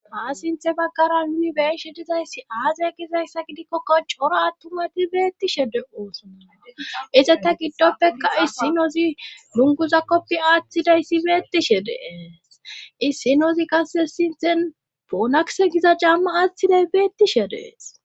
Haa sinthe baggara yunibershe dizayssi aazaya gizayssa gidikkokko coro attumati beettishe de ooso ize ta giddoppekka issinozi nunguza koppi aaththidayssi beettishe dee issinozi qasse sinthen poonakse giza jamma aaththiday beettishe dees.